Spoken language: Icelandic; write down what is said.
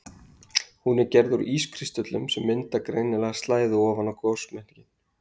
Hún er gerð úr ískristöllum sem mynda greinilega slæðu ofan við gosmökkinn.